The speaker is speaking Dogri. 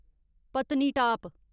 पतनी टाप